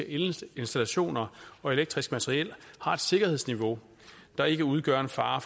elinstallationer og elektrisk materiel har et sikkerhedsniveau der ikke udgør en fare